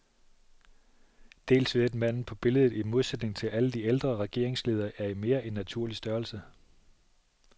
Dels ved at manden på billedet, i modsætning til alle de ældre regeringsledere, er i mere end naturlig størrelse.